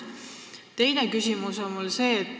Teine küsimus on selline.